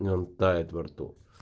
прям тает во рту